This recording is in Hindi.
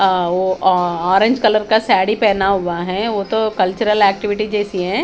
अ वो अ ऑरेंज कलर का साड़ी पहना हुआ है वो तो कल्चर एक्टिविटी जेसी है ।